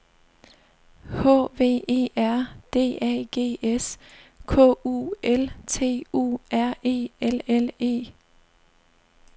H V E R D A G S K U L T U R E L L E